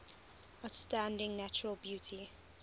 outstanding natural beauty